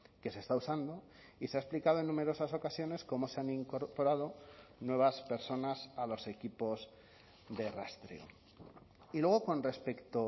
que se está usando y se ha explicado en numerosas ocasiones cómo se han incorporado nuevas personas a los equipos de rastreo y luego con respecto